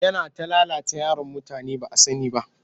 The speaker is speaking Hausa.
Yana ta lalata yaran mutane ba a sani ba